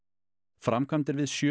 framkvæmdir við sjö